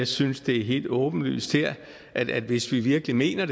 synes det er helt åbenlyst her at hvis vi virkelig mener